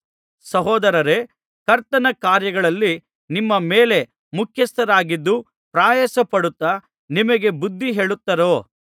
ಸಹೋದರರೇ ಕರ್ತನ ಕಾರ್ಯಗಳಲ್ಲಿ ನಿಮ್ಮ ಮೇಲೆ ಮುಖ್ಯಸ್ಥರಾಗಿದ್ದು ಪ್ರಯಾಸಪಡುತ್ತಾ ನಿಮಗೆ ಬುದ್ಧಿ ಹೇಳುತ್ತರೋ